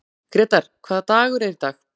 Grétar, hvaða dagur er í dag?